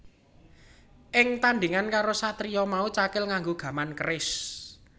Ing tandhingan karo satriya mau Cakil nganggo gaman keris